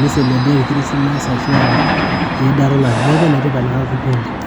ni celebrate christmas ashua eidata olari neeku enetipat enatoki oleng.